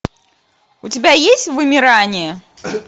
у тебя есть вымирание